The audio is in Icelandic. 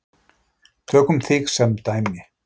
Tökum þig sem dæmi.